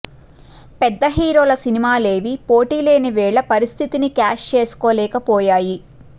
పెద్ద హీరోల సినిమాలేవీ పోటీ లేని వేళ పరిస్థితిని క్యాష్ చేసుకోలేకపోయాయి